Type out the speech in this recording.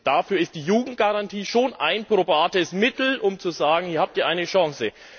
Dafür ist die Jugendgarantie schon ein probates Mittel, um zu sagen Ihr habt hier eine Chance.